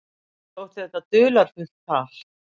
Mér þótti þetta dularfullt tal.